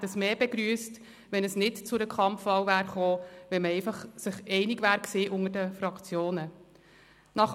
Wir hätten es mehr begrüsst, wenn es nicht zu einer Kampfwahl gekommen wäre, wenn man sich unter den Fraktionen einig gewesen wäre.